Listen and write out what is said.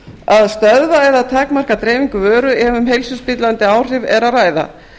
að stöðva eða takmarka dreifingu vöru ef um heilsuspillandi áhrif er að ræða